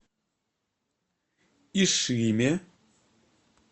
ишиме